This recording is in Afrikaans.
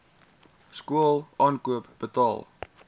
skool aankoop betaal